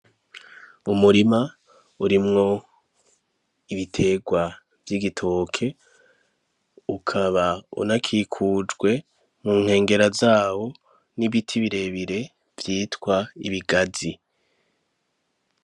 Umurima urimwo ibiterwa vy'igitoke ukaba unakikujwe mu nkengera zabo ibiti birebire vyitwa ibigazi.